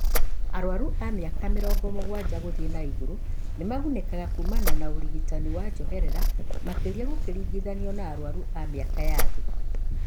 Arwaru a mĩaka mĩrongo mũgwanja gũthiĩ na igũrũ nĩmagunĩkaga kumana na ũrigitani wa njoherera makĩria gũkĩringithanio na arwaru a mĩaka ya thĩ